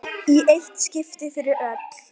Í eitt skipti fyrir öll!